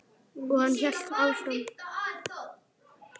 Og hann hélt áfram.